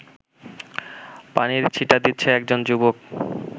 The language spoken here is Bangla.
পানির ছিটা দিচ্ছে একজন যুবক